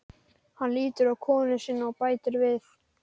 Hafði hann þegar unnið sér alþjóðarhylli.